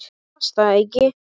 Hún las það ekki.